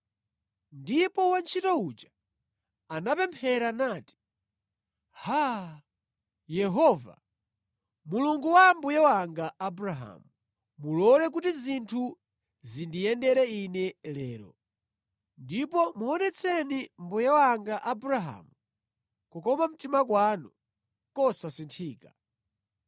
Ndipo wantchito uja anapemphera nati, “Haa, Yehova, Mulungu wa mbuye wanga Abrahamu, mulole kuti zinthu zindiyendere ine lero, ndipo muonetseni mbuye wanga Abrahamu kukoma mtima kwanu kosasinthika.